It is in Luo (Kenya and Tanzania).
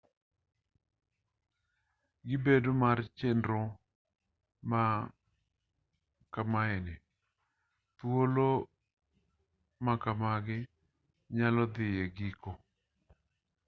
gi bedo mar chenro ma kamae ni thuolo ma kamagi nyalo dhi e giko